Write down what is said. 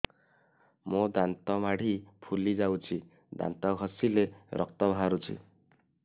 ମୋ ଦାନ୍ତ ମାଢି ଫୁଲି ଯାଉଛି ଦାନ୍ତ ଘଷିଲେ ରକ୍ତ ବାହାରୁଛି